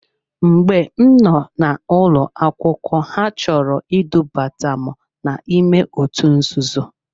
Mgbe m noo n'ụlọ akwụkwọ ha chọrọ idubata m n'ime otu nzuzo.